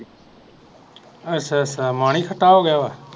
ਅੱਛਾ ਅੱਛਾ ਮਾਨ ਹੀ ਖਟਾ ਹੋਗਿਆ ਵਾ